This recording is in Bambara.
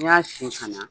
N'i y'a sen fana